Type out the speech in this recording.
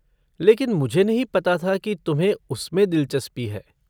लेकिन मुझे नहीं पता था की तुम्हें उसमें दिलचस्पी है।